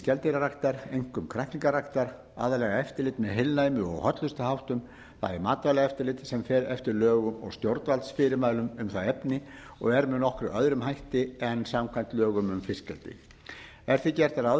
skeldýraræktar einkum kræklingaræktar aðallega eftirlit með heilnæmi og hollustuháttum bæði matvælaeftirlitsins sem fer eftir lögum og stjórnvaldsfyrirmælum um það efni og er með nokkuð öðrum hætti en samkvæmt lögum um fiskeldi ekki er gert ráð